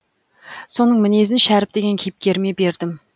соның мінезін шәріп деген кейіпкеріме бердім